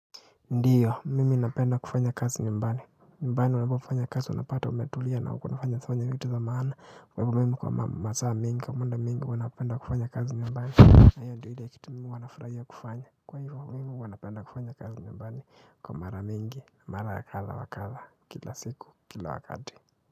Ndiyo, mimi inapenda kufanya kazi nyumbani. Numbani unafaa ufanye kazi unapata umetulia na uko hujafanya vitu za maana. Kwa hivyo mimi kwa masaa mengi, kwa muda mwingi huwa napenda kufanya kazi nyumbani na hiyo ndio ile kitu mimi huwa nafurahia kufanya. Kwa hivyo mimi huwa napenda kufanya kazi nyumbani. Kwa mara mingi, mara ya kadha wa kadha, kila siku, kila wakati.